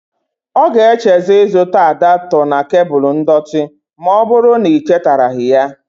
Ọ ga-echezo ịzụts adọota na kebul ndọtị ma ọbụrụ na i chetaraghi ya.